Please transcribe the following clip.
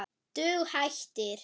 Dug hættir.